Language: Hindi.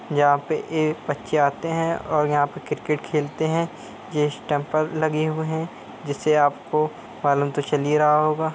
यहां पर ए बच्चे आते हैं और यहाँ पे क्रिकेट खेलते हैं। ये स्टंप लगे हुए हैं जिससे आपको मालूम तो चल ही रहा होगा।